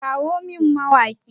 Kirawo min mawaƙin!